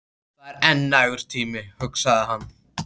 Það er enn nægur tími, hugsaði hann.